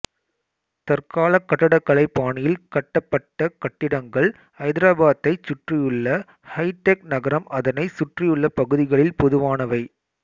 தற்கால கட்டடக்கலை பாணியில் கட்டப்பட்ட கட்டிடங்கள் ஐதராபாத்தைச் சுற்றியுள்ள ஹைடெக் நகரம் அதனை சுற்றியுள்ள பகுதிகளில் பொதுவானவை